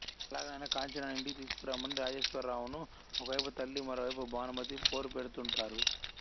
ఎలాగైనా కాంచనను యింటికి తీసుకురమ్మని రాజేశ్వర్రావును ఒక వైపు తల్లి మరోవైపు భానుమతి పోరుపెడుతుంటారు